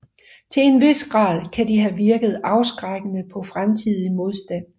Til en vis grad kan de have virket afskrækkende på fremtidig modstand